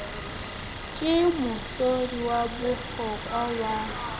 ke mohlodi wa bohlokwa wa